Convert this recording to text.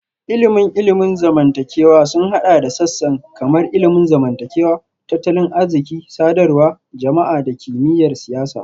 Ilimin ilimin zamantakewa sun haɗa da sassan kamar ilimin zamantakewa, tattalin arziki, sadarwar jama'a da kimiyyar siyasa